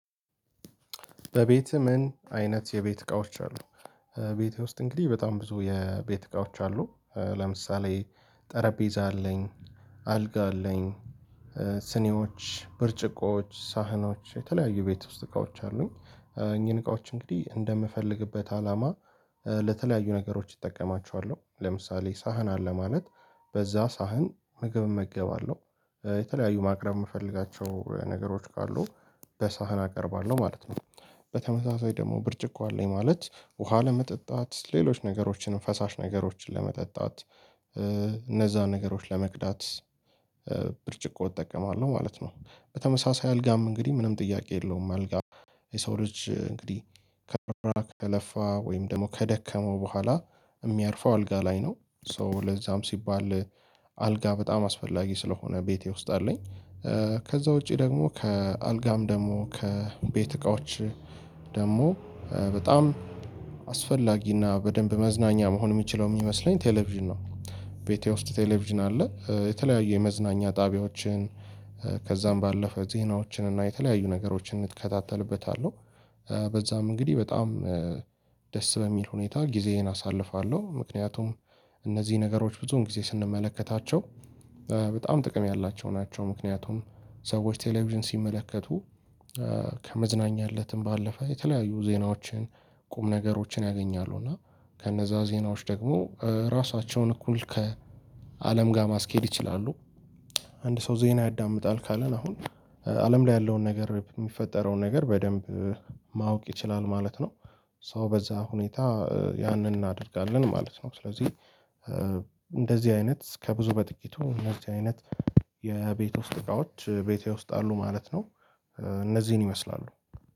በቤት ምን አይነት የቤት እቃዎች አሉ? ቤቴ ውስጥ እንግዲህ በጣም ብዙ የቤት እቃዎች አሉ። ለምሳሌ ጠረጴዛ አለኝ አልጋ አለኝ። ስኔዎች ብርጭቆዎች ሳህኖች የተለያዩ ቤት ውስጥ እቃዎች አሉኝ። እኚህን እቃዎች እንግዲህ እንደምፈልግበት አላማ ለተለያዩ ነገሮች እጠቀማቸዋለሁ ለምሳሌ ሳህን አለ ማለት በዛ ሳህን ምግብ እመገባለሁ የተለያዩ ማቅረብ የምፈልጋቸው ነገሮች ካሉ በሳህን አቀርባለሁ ማለት ነው። በተመሳሳይ ደግሞ ብርጭቆ አለኝ ማለት ውሃ ለመጠጣት ሌሎች ነገሮችንም ፈሳሽ ነገሮችን ለመጠጣት እነዛን ነገሮች ለመክዳት ብርጭቆ እጠቀማለሁ ማለት ነው። በተመሳሳይ አልጋም እንግዲህ ምንም ጥያቄ የለውም አልጋ። የሰው ልጅ እንግዲህ ከተረፋ ከለፋ ወይም ደግሞ ከደከመው በኋላ የሚያርፈው አልጋ ላይ ነው። ሶ ለዛም ሲባል አልጋ በጣም አስፈላጊ ስለሆነ ቤቴ ውስጥ አለኝ። ከዛ ውጪ ደግሞ ከአልጋም ደግሞ ከቤት እቃዎች ደግሞ በጣም አስፈላጊ እና በደንብ መዝናኛ መሆን የሚችለው የሚመስለኝ ቴሌቪዥን ነው፤። ቤቴ ውስጥ ቴሌቪዥን አለ የተለያዩ የመዝናኛ ጣቢያዎችን ከዛም ባለፈ ዜናዎችን እና የተለያዩ ነገሮችን እንከታተልበታለሁ። በዛም እንግዲህ በጣም ደስ በሚል ሁኔታ ጊዜዬን አሳልፋለሁ ምክንያቱም እነዚህ ነገሮች ብዙን ጊዜ ስንመለከታቸው በጣም ጥቅም ያላቸው ናቸው። ምክንያቱም ሰዎች ቴሌቪዥን ሲመለከቱ ከመዝናኛ እለትም ባለፈ የተለያዩ ዜናዎችን ቁም ነገሮችን ያገኛሉ እና ከነዛ ዜናዎች ደግሞ ራሳቸውን እኩል ከአለም ጋር ማስኬድ ይችላሉ። አንድ ሰው ዜና ያዳምጣል ካለ አሁን አለም ላይ ያለውን ነገር የሚፈጠረውን ነገር በደንብ ማወቅ ይችላል ማለት ነው። ሰው በዛ ሁኔታ ያንን እናደርጋለን ማለት ነው ስለዚህ እንደዚህ አይነት ከብዙ በጥቂቱ እነዚህ አይነት የቤት ውስጥ እቃዎች ቤቴ ውስጥ አሉ ማለት ነው። እነዚህን ይመስላሉ